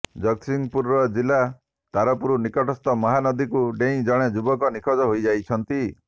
ଜଗତସିଂହପୁର ଜିଲ୍ଲା ତାରପୁର ନିକଟସ୍ଥ ମହାନଦୀକୁ ଡେଇଁ ଜଣେ ଯୁବକ ନିଖୋଜ ହୋଇଯାଇଛନ୍ତି